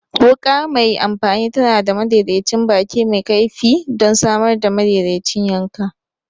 Wuka mai amfani tana da madaidaicin baki mai kaifi don samar da madaidaicin yanka.